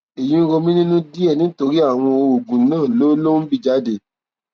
èyí ń rò mí nínú díẹ nítorí àwọn oògùn náà ló ló ń bì jáde